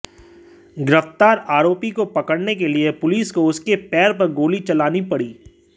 गिरफ्तार आरोपी को पकड़ने के लिए पुलिस को उसके पैर पर गोली चलानी पड़ी